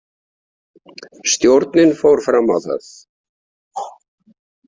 Stjórnin fór fram á það.